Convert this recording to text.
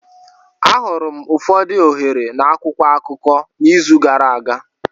Ahụrụ m ụfọdụ ohere na akwụkwọ akụkọ n'izu gara aga.